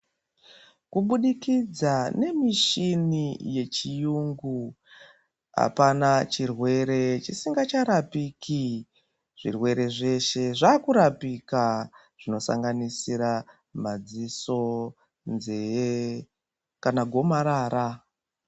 Kubudikidza nemishini yechiyungu, apana chirwere chisingacharapiki. Zvirwere zveshe zvakurapika zvinosanganisira madziso, nzee kana gomarara.